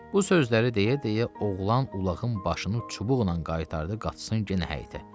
Bu sözləri deyə-deyə oğlan ulağın başını çubuqla qaytardı qaçsın yenə həyətə.